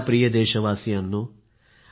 माझ्या प्रिय देशवासियांनो